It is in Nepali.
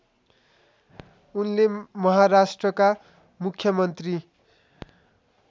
उनले महाराष्ट्रका मुख्यमन्त्री